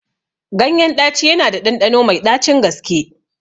Ganyen ɗaci yana da ɗanɗano mai ɗacin gaske